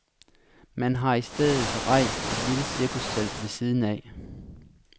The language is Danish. Man har i stedet rejst et lille cirkustelt ved siden af.